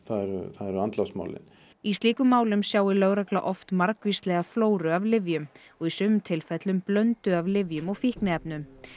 það eru það eru andlátsmálin í slíkum málum sjái lögregla oft margvíslega flóru af lyfjum og í sumum tilfellum blöndu af lyfjum og fíkniefnum